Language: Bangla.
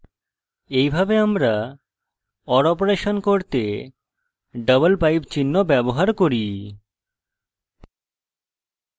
এইভাবে আমরা or অপারেশন করতে double pipe চিহ্ন ব্যবহার করি